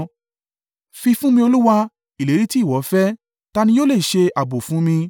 “Fi fún mi Olúwa, ìlérí tí ìwọ fẹ́; ta ni yóò le ṣe ààbò fún mi?